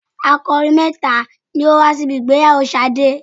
Akọrin mẹ́ta ni ó wá síbi ìgbéyàwó Ṣadé.